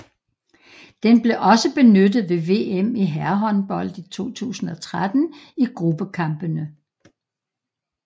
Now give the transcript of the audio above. Den blev også benyttet ved VM i herrehåndbold 2013 i gruppekampene